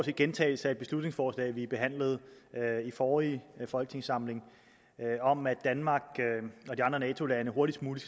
en gentagelse af beslutningsforslaget som vi behandlede i forrige folketingssamling om at danmark og de andre nato lande hurtigst muligt